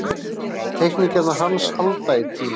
Teikningarnar hans halda í tímann.